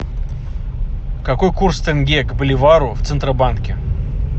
какой курс тенге к боливару в центробанке